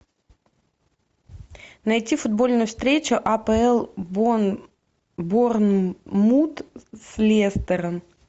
найти футбольную встречу апл борнмут с лестером